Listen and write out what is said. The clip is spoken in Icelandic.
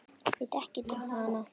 Veit ekkert um hana.